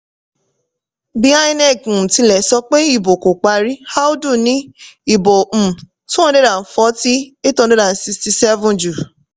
bí inec um tilẹ̀ sọ pé ìbò kò parí audu ní ìbò um two hundred and forty, eight hundred and seven jù.